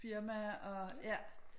Firma og ja